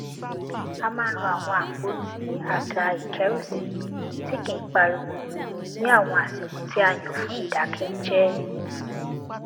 a máa ń lo àwọn àpótí àga ìkérùsí tí kì í pariwo ní àwọn àsìkò tí a yàn fún ìdákẹjẹẹ